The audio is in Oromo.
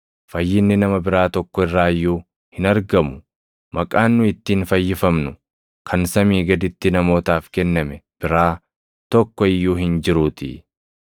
Fayyinni nama biraa tokko irraa iyyuu hin argamu; maqaan nu ittiin fayyifamnu kan samii gaditti namootaaf kenname biraa tokko iyyuu hin jiruutii.”